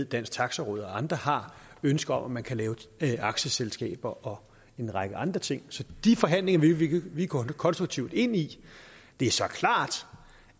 dansk taxi råd og andre har ønsker om at man kan lave aktieselskaber og en række andre ting så de forhandlinger vil vi vi gå konstruktivt ind i det er så klart